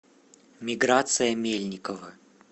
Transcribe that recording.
миграция мельникова